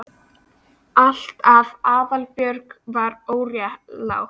Allt af því að Aðalbjörg var óréttlát.